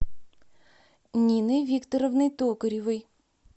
ниной викторовной токаревой